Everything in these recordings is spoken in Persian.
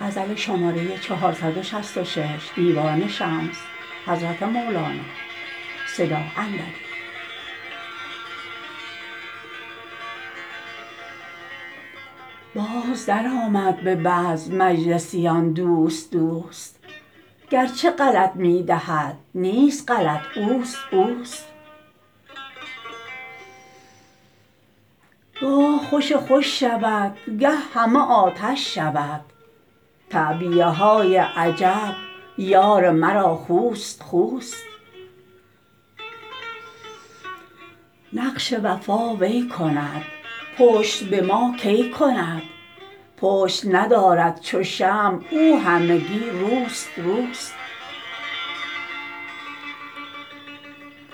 باز درآمد به بزم مجلسیان دوست دوست گرچه غلط می دهد نیست غلط اوست اوست گاه خوش خوش شود گه همه آتش شود تعبیه های عجب یار مرا خوست خوست نقش وفا وی کند پشت به ما کی کند پشت ندارد چو شمع او همگی روست روست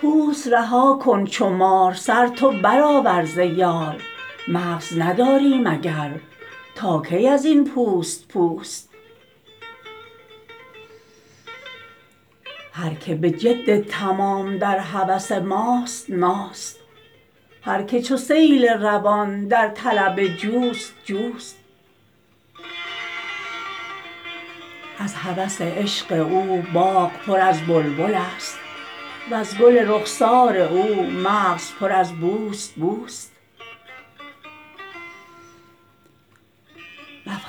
پوست رها کن چو مار سر تو برآور ز یار مغز نداری مگر تا کی از این پوست پوست هر کی به جد تمام در هوس ماست ماست هر کی چو سیل روان در طلب جوست جوست از هوس عشق او باغ پر از بلبل ست وز گل رخسار او مغز پر از بوست بوست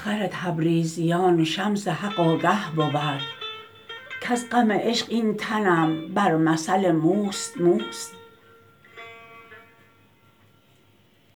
مفخر تبریزیان شمس حق آگه بود کز غم عشق این تنم بر مثل موست موست